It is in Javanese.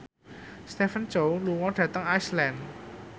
Stephen Chow lunga dhateng Iceland